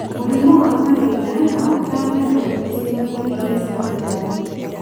Mũrimũ wa malaria no ũtambe narua icigo-inĩ irĩa cĩĩna rwagĩ.